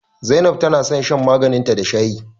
Zainab tana son shan maganin ta da shayi